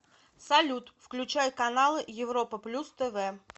салют включай каналы европа плюс тв